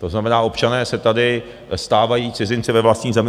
To znamená, občané se tady stávají cizinci ve vlastní zemi.